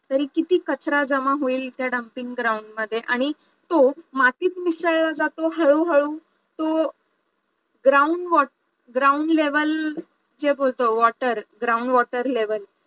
तरी किती कचरा जमा होईल त्या dumping ground मध्ये आणि तो मातीत मिसळला जातो हळूहळू तो ground ground level जे बोलतो water ground water level